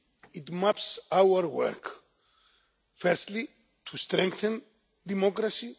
It maps our work firstly to strengthen democracy.